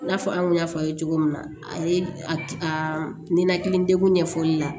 I n'a fɔ an kun y'a fɔ a ye cogo min na a ye a ninakili degun ɲɛfɔli la